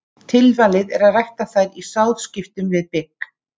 Tilvalið er að rækta þær í sáðskiptum við bygg.